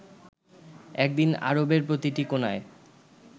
একদিন আরবের প্রতিটি কোণায়